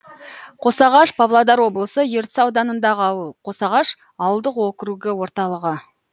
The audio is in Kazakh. қосағаш павлодар облысы ертіс ауданындағы ауыл қосағаш ауылдық округі орталығы